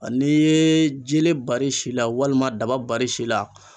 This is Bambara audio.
Ani ye je bari si la walima dabali si la.